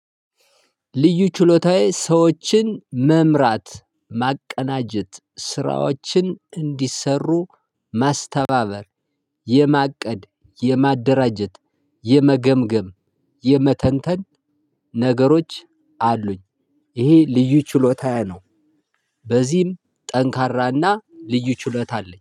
ልዩ ችሎታዬ ሰዎችን መምራት ማቀናጀት ስራዎችን እንዲሰሩ ማስተባበር የማቀድ የማደራጀት የመገምገም የመተንተን ነገሮች አሉኝ። ይሄ ልዩ ችሎታዬ ነው። በዚህም ጠንካራና ልዩ ችሎታ አለኝ።